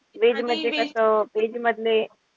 Veg मध्ये कस, veg मधले.